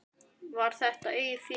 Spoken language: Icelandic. Var þetta eigið fé?